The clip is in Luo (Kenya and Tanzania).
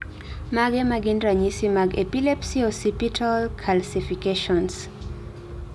Mage magin ranyisi mag Epilepsy occipital calcifications?